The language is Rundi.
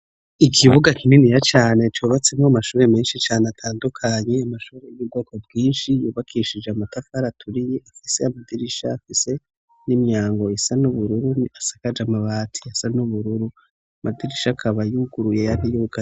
Ikibuga kininiya cane cubatsemw'amashuri menshi cane atandukanye, amashuri y'ubwoko bwinshi yubakishije amatafar 'aturiye ifise amadirisha afise n'imyango isa n'ubururu isakaj' amabati asa n'ubururu amadirisha akaba yuguruye ayandi yugaye.